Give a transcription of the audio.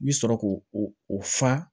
I bi sɔrɔ k'o o fa